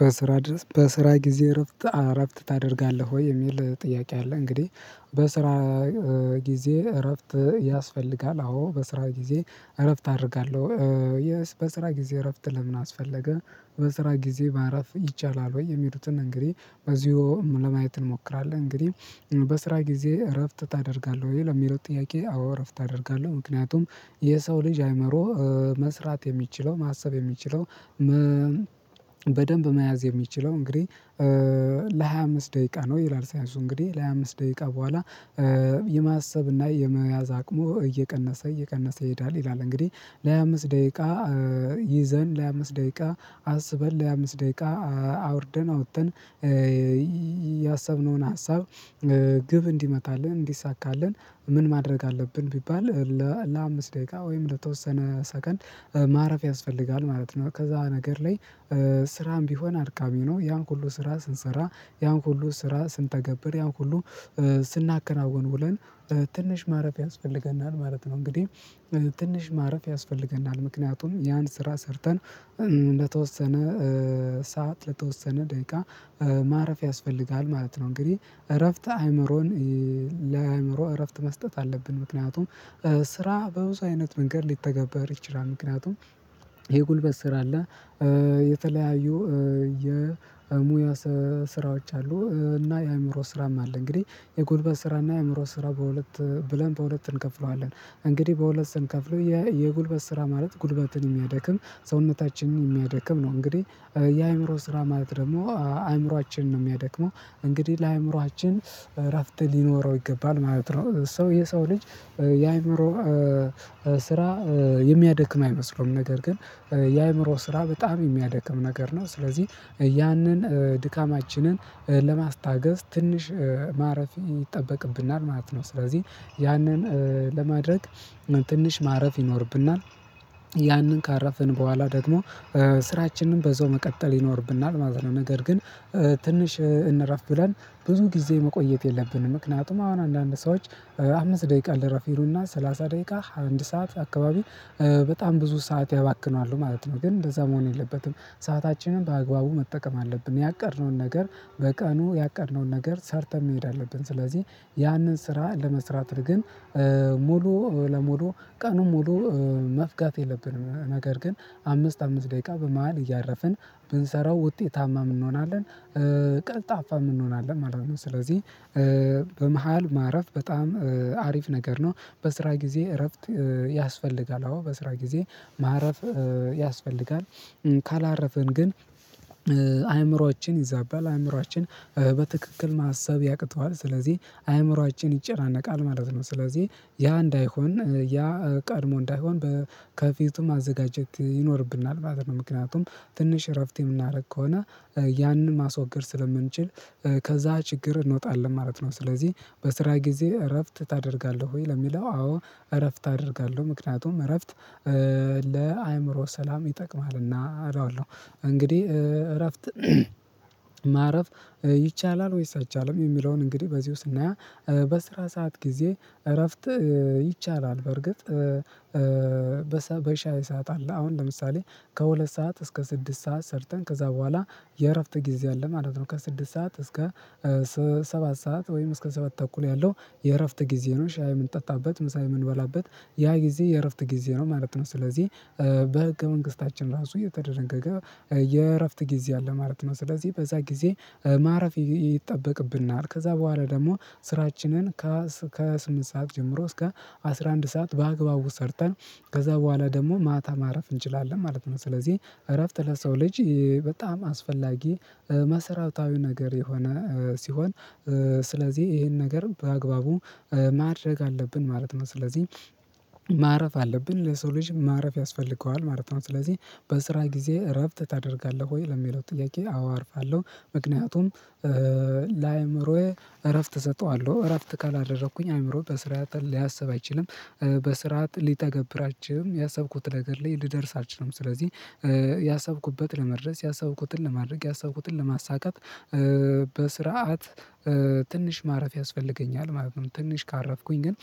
በስራ ድረስ በስራ ጊዜ እረፍት እረፍት ታደርጋለህ ወይ የሚል ጥያቄ አለ። እንግዲህ በስራ ጊዜ እረፍት ያስፈልጋል። አዎ በስራ ጊዜ እረፍት አደርጋለሁ። የስ በስራ ጊዜ እረፍት ለምን አስፈለገ በስራ ጊዜ ማረፍ ይቻላል ወይ? የሚሉትን እንግዲህ በዚሁ ለማየት እንሞክራለን። እንግዲህ በስራ ጊዜ እረፍት ታደርጋለህ ወይ? ለሚለው ጥያቄ አዎ እረፍት አደርጋለሁ። ምክንያቱም የሰው ልጅ አይምሮ መስራት የሚችለው ማሰብ የሚችለው። በደንብ መያዝ የሚችለው እንግዲህ። ለሃያ አምስት ደቂቃ ነው ይላል ሳይንሱ እንግዲህ ለሃያ አምስት ደቂቃ በኋላ። የማሰብ የመያዝ አቅሙ እየቀነሰ እየቀነሰ ይሄዳል ይላል። እንግዲህ ለሀያ አምስት ደይቃ ይዘን ለሀያ አምስት ደይቃ አስበን ለአምስት ደይቃ አውርደን አውተን። ያሰብነውን ሀሳብ ግብ እንዲመታልን እንዲሳካልን ምን ማድረግ አለብን ቢባል? ለአምስት ደይቃ ወይም ለተወሰነ ሰከንድ ማረፍ ያስፈልጋል ማለት ነው። ከዛ ነገር ላይ። ስራም ቢሆን አድካሚ ነው ያን ሁሉ ስራ ስንሰራ ያን ሁሉ ስራ ስንተገብር ያን ሁሉ ስናከናውን ውለን ትንሽ ማረፍ ያስፈልገናል ማለት ነው። እንግዲህ ትንሽ ማረፍ ያስፈልገናል ምክንያቱም ያን ስራ ሰርተን ለተወሰነ ሰዓት ለተወሰነ ደይቃ ማረፍ ያስፈልጋል ማለት ነው። እንግዲህ እረፍት አይምሮን ለአይምሮ እረፍት መስጠት አለብን። ምክንያቱም ስራ በብዙ አይነት መንገድ ሊተገበር ይችላል። ምክንያቱም የጉልበት ስራ አለ። የተለያዩ የሙያ ስራዎች አሉ። እና የአይምሮ ስራም አለ። እንግዲህ የጉልበት ስራ እና የአእምሮ ስራ በሁለት ብለን በሁለት እንከፍለዋለን። እንግዲህ በሁለት ስንከፍለው የጉልበት ስራ ማለት ጉልበትን የሚያደክም ሰውነታችንን የሚያደክም ነው። እንግዲህ የአእምሮ ስራ ማለት ደግሞ አእምሯችንን ነው የሚያደክመው። እንግዲህ ለአእምሮአችን እረፍት ሊኖረው ይገባል ማለት ነው። ሰው የሰው ልጅ የአእምሮ ስራ የሚያደክም አይመስለውም ነገር ግን የአእምሮ ስራ በጣም የሚያደክም ነገር ነው። ስለዚህ ያንን ድካማችንን ለማስታገስ ትንሽ ማረፍ ይጠበቅብናል ማለት ነው። ስለዚህ ያንን ለማድረግ ትንሽ ማረፍ ይኖርብናል። ያንን ካረፍን በኋላ ደግሞ ስራችንን በዛው መቀጠል ይኖርብናል ማለት ነው። ነገር ግን ትንሽ እንረፍ ብለን ብዙ ጊዜ መቆየት የለብንም። ምክንያቱም አሁን አንዳንድ ሰዎች አምስት ደቂቃ ልረፍ ይሉና ሰላሳ ደቂቃ አንድ ሰዓት አካባቢ በጣም ብዙ ሰዓት ያባክናሉ ማለት ነው። ግን እንደዛ መሆን የለበትም። ሰአታችንን በአግባቡ መጠቀም አለብን። ያቀድነውን ነገር በቀኑ ያቀድነውን ነገር ሰርተህ መሄድ አለብን። ስለዚህ ያንን ስራ ለመስራት ግን ሙሉ ለሙሉ ቀኑን ሙሉ መፍጋት የለብንም ነገር ግን አምስት አምስት ደቂቃ በመሃል እያረፍን ብንሰራው ውጤታማም እንሆናለን። ቀልጣፋም እንሆናለን ማለት ነው። ስለዚህ በመሃል ማረፍ በጣም አሪፍ ነገር ነው። በስራ ጊዜ እረፍት ያስፈልጋል። አዎ በስራ ጊዜ ማረፍ ያስፈልጋል። ካላረፍን ግን አእምሮ ይዛባል አእምሮአችን በትክክል ማሰብ ያቅተዋል ስለዚህ አእምሮአችን ይጨናነቃል ማለት ነው። ስለዚህ ያ እንዳይሆን ያ ቀድሞ እንዳይሆን በ ከፊቱ ማዘጋጀት ይኖርብናል ማለት ነው። ምክንያቱም ትንሽ እረፍት የምናደርግ ከሆነ ያንን ማስወገድ ስለምንችል ከዛ ችግር እንወጣለን ማለት ነው። ስለዚህ በስራ ጊዜ እረፍት ታደርጋለህ ወይ? ለሚለው አዎ እረፍት አደርጋለሁ። ምክንያቱም እረፍት ለአእምሮ ሰላም ይጠቅማልና እለዋለሁ እንግዲህ እረፍት ማረፍ ይቻላል? ወይስ አይቻልም የሚለውን እንግዲህ በዚሁ ስናየው። በስራ ሰዓት ጊዜ እረፍት ይቻላል። በርግጥ በሻይ ሰዓት አለ አሁን ለምሳሌ ከሁለት ሰዓት እስከ ስድስት ሰዓት ሰርተን ከዛ በኋላ የእረፍት ጊዜ አለ ማለት ነው። ከስድስት ሰዓት እስከ ሰባት ሰዓት ወይም እስከ ሰባት ተኩል ያለው የእረፍት ጊዜ ነው። ሻይ ምንጠጣበት ምሳ የምንበላበት ያ ጊዜ የእረፍት ጊዜ ነው ማለት ነው። ስለዚህ በህገ መንግስታችን ራሱ እየተደነገገ የእረፍት ጊዜ አለ ማለት ነው። ስለዚህ በዛ ጊዜ ማረፍ ይጠበቅብናል። ከዛ በኋላ ደግሞ ስራችንን ከስምንት ሰዓት ጀምሮ እስከ አስራ አንድ ሰዓት በአግባቡ ሰርተን ከዛ በኋላ ደግሞ ማታ ማረፍ እንችላለን ማለት ነው። ስለዚህ እረፍት ለሰው ልጅ በጣም አስፈላጊ መሰረታዊ ነገር የሆነ ሲሆን። ስለዚህ ይሄን ነገር በአግባቡ ማድረግ አለብን ማለት ነው። ስለዚህ ማረፍ አለብን ለሰው ልጅ ማረፍ ያስፈልገዋል ማለት ነው። ስለዚህ በስራ ጊዜ እረፍት ታደርጋለህ ወይ? ለሚለው ጥያቄ አዎ አርፋለሁ። ምክንያቱም ለአእምሮዬ እረፍት እሰጠዋለሁ እረፍት ካላደረኩኝ አእምሮ በስርዓት ሊያሰብ አይችልም። በስርዓት ሊተገብራቸው ያሰብኩት ነገር ላይ ልደርስ አልችልም። ስለዚህ ያሰብኩበት ለመድረስ ያሰብኩትን ለማድረግ ያሰብኩትን ለማሳካት በስርዓት ትንሽ ማረፍ ያስፈልገኛል ማለት ነው። ትንሽ ካረፍኩኝ ግን